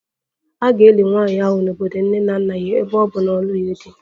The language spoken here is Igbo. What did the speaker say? A ga-eli nwanyị ahụ n'obodo nne na nna ya ebe ọ bụ na ọ na-alụghị di